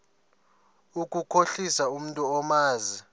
ukukhohlisa umntu omazi